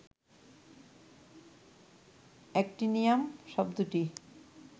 actinium শব্দটি